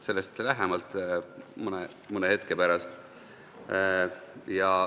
Sellest aga lähemalt mõne hetke pärast.